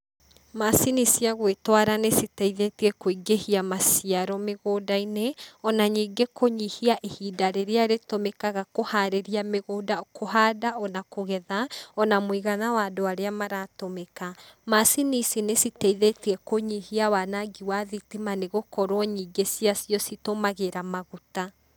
Macini cia gwĩtwara nĩ citeithĩtie kũingĩhia maciaro mĩgũnda-inĩ ona ningĩ kũnyihia ihinda rĩrĩa rĩtũmĩkaga kũharĩria mĩgũnda, kũhanda ona kũgetha, ona mũigana wa andũ arĩa maratũmĩka. Macini ici nĩ citeithĩtie kũnyihia wanangi wa thitima nĩ gũkorwo nyingĩ cia cio citũmagĩra maguta.